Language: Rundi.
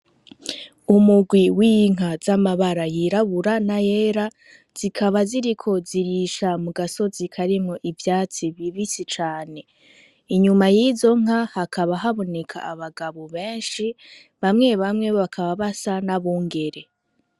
Umurwi w'inka z'amabara yirabura n'ayera, zikaba ziriko zirisha mu gasozi karimwo ivyatsi bibisi cane. Inyuma y'izo nka hakaba haboneka abagabo benshi. Bamwe bamwe bakaba basa n'abungere.